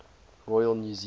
royal new zealand